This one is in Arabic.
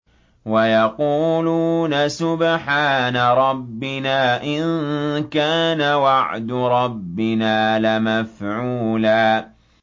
وَيَقُولُونَ سُبْحَانَ رَبِّنَا إِن كَانَ وَعْدُ رَبِّنَا لَمَفْعُولًا